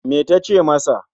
Me ta ce masa?